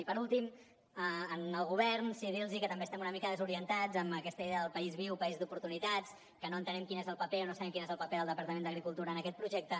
i per últim al govern sí que dir los que també estem una mica desorientats amb aquesta idea del país viu país d’oportunitats que no entenem quin és el paper o no sabem quin és el paper del departament d’agricultura en aquest projecte